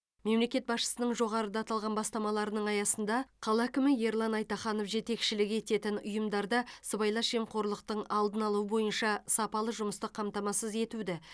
мемлекет басшысының жоғарыда аталған бастамаларының аясында қала әкімі ерлан айтаханов жетекшілік ететін ұйымдарда сыбайлас жемқорлықтың алдын алу бойынша сапалы жұмысты қамтамасыз етуді